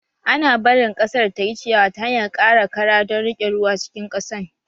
Ana barin ƙasar tayi ciyawa ta hanyar ƙara kara don riƙe ruwa cikin ƙasan